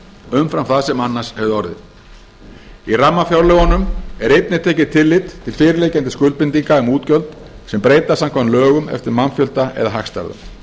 umfram það sem annars hefði orðið í rammafjárlögunum er einnig tekið tillit til fyrirliggjandi skuldbindinga um útgjöld sem breytast samkvæmt lögum eftir mannfjölda eða hagstærðum